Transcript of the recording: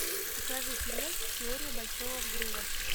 покажи сериальчик теория большого взрыва